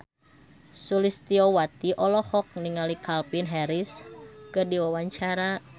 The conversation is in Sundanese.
Sulistyowati olohok ningali Calvin Harris keur diwawancara